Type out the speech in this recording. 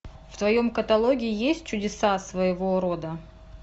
в твоем каталоге есть чудеса своего рода